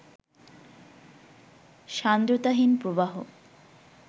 সান্দ্রতাহীন প্রবাহ